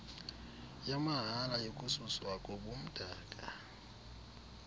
yamahala yokususwa kobumdaka